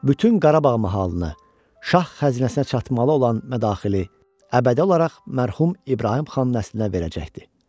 bütün Qarabağ mahalını, Şah xəzinəsinə çatmalı olan mədaxili əbədi olaraq mərhum İbrahim xan nəslinə verəcəkdi.